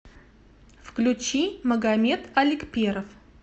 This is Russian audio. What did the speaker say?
включи магомед аликперов